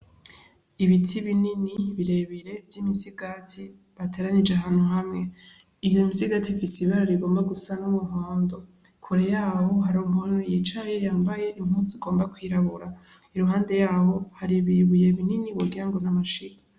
Ibiti binini bire bire vy' imisigati bateranije ahantu hamwe iyo misigati ifise ibara rigomba gusa nk'umuhondo kure yaho hari umuntu yicaye yambaye impuzu igomba kwirabura, iruhande yaho hari ibibuye binini wogira ngo ni amashiga.